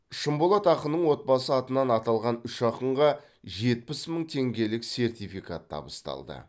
шынболат ақынның отбасы атынан аталған үш ақынға жетпіс мың теңгелік сертификат табысталды